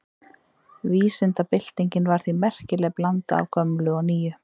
Vísindabyltingin var því merkileg blanda af gömlu og nýju.